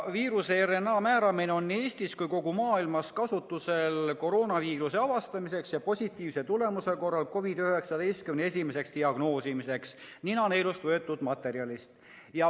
Viiruse RNA määramine on nii Eestis kui ka mujal maailmas kasutusel koroonaviiruse avastamiseks ja positiivse tulemuse korral COVID‑19 esimeseks diagnoosimiseks ninaneelust võetud proovi põhjal.